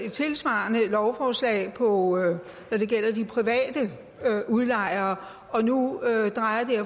et tilsvarende lovforslag når det gælder de private udlejere og nu drejer